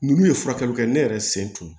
Ninnu ye furakɛli kɛ ne yɛrɛ sen tun ye